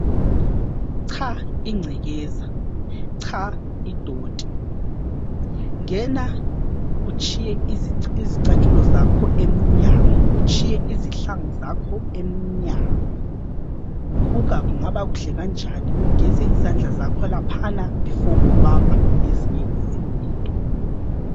Cha ingcekeza, cha idoti, ngena utshiye izicathulo zakho emnyango, utshiye izihlangu zakho emnyango, buka kungaba kuhle kanjani ugeze izandla zakho laphana bhifo ubamba ezinye izinto.